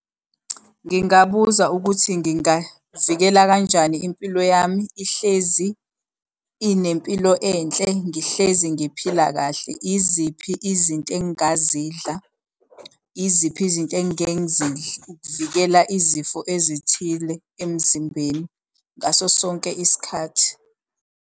Ngingabuza ukuthi ngingavikela kanjani impilo yami ihlezi inempilo enhle ngihlezi ngiphila kahle. Iziphi izinto engingazidla? Iziphi izinto engingeke ngizindle ukuvikela izifo ezithile emzimbeni ngaso sonke isikhathi.